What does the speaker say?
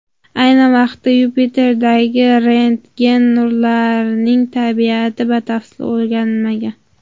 Ayni vaqtda Yupiterdagi rentgen nurlarining tabiati batafsil o‘rganilmagan.